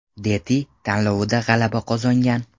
Deti” tanlovida g‘alaba qozongan.